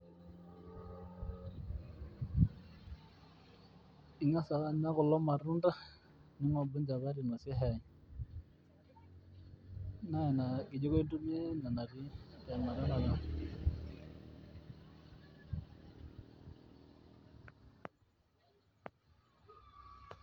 Ing'as ake anya kulo matunda ninkobia enchapati nabo shai naa ina kijiko intumiya.